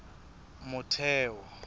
motheo